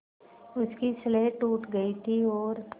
उसकी स्लेट टूट गई थी और